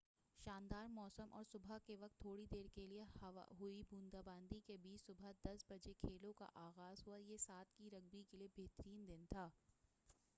شاندار موسم اور صبح کے وقت تھوڑی دیر کیلئے ہوئی بوندا باندی کے بیچ صبح 10:00 بجے کھیلوں کا آغاز ہوا، یہ 7' کی رگبی کیلئے بہترین دن تھا۔